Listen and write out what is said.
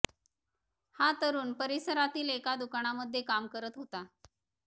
हा तरूण परिसरातील एका दुकानामध्ये काम करत होता